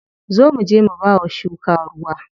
Zo muje mu bawa shuka ruwa.